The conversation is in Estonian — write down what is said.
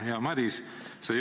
Hea Madis!